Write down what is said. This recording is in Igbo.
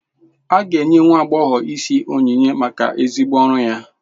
A ga-enye nwa agbọghọ isi onyinye maka ezigbo ọrụ ya.